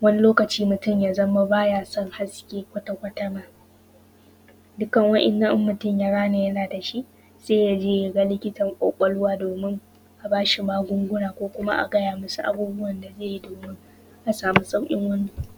wani lokaci mutum ya za ma ba ya san haske kwatakwata ma.. Dukan wanan idan mutum ya gane yana da shi, sai ya je ya ga likitan ƙwaƙwalwa domin, a ba shi magunguna ko kuma a gaya ma shi abubuwan da zai yi domin ya samu sauƙin wannan.